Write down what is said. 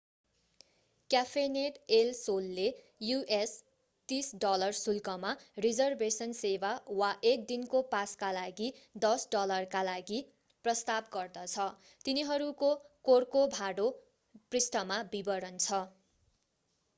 Café net El सोलले us$30 शुल्कमा reservation सेवा वा एक दिनको पासका लागि $10 का लागि प्रस्ताव गर्दछ। तिनीहरूको कोर्कोभाडो पृष्ठमा विवरण छ।